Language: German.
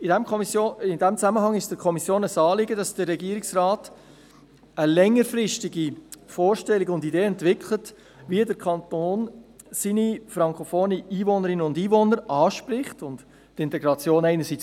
In diesem Zusammenhang ist es der Kommission ein Anliegen, dass der Regierungsrat eine längerfristige Vorstellung davon entwickelt, wie der Kanton seine frankophonen Einwohnerinnen und Einwohner anspricht und die Integration pflegt.